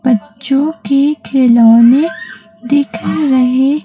बच्चों के खिलौने दिखा रहे--